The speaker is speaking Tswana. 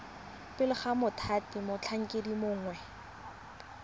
pele ga mothati motlhankedi mongwe